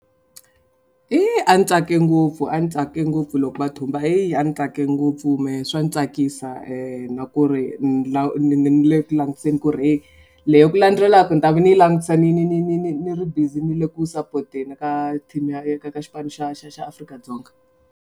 Hi a ni tsake ngopfu a ni tsake ngopfu loko va thumba hi a ni tsake ngopfu mehe swa ni tsakisa na ku ri le ku langutiseni ku ri heyi leyi ku landzelaku ni ta va ni langutisa ni ni ni ni ni ni ri busy ni le ku sapoteni ka team ya ya ka ka xipano xa xa xa Afrika-Dzonga.